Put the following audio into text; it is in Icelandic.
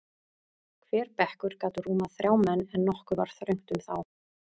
Hver bekkur gat rúmað þrjá menn, en nokkuð var þröngt um þá.